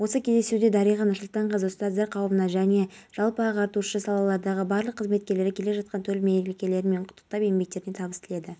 портал ақпаратына сәйкес зауыттың қызметкері отын деңгейін өлшеу үшін сауыттың қақпағын ашқан кезде жарылыс болған ер адам оқиға орнында қаза тапты